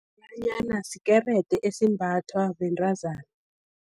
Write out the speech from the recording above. Umadalanyana, skerede esimbathwa bentazana.